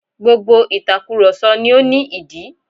Gbogbo ìtakùròsọ ni ó ní ìdí